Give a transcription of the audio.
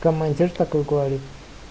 командир такой говорит